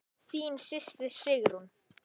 Þín systir, Sigrún.